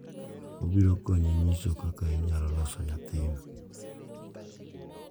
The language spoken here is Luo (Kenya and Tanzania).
Obiro konyi nyisi kaka inyalo loso nyathino,